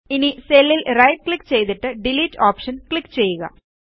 ഇനി സെല്ലിൽ right click ചെയ്തിട്ട് ഡിലീറ്റ് ഓപ്ഷനിൽ ക്ലിക്ക് ചെയ്യുക